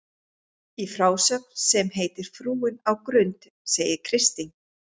Í frásögn sem heitir Frúin á Grund segir Kristín